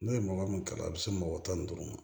N'o ye mɔgɔ min kalan a bɛ se mɔgɔ tan ni duuru ma